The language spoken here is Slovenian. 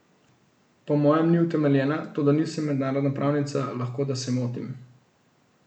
Po mojem ni utemeljena, toda nisem mednarodna pravnica, lahko da se motim.